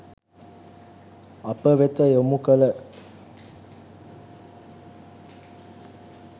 අප වෙත යොමු කළ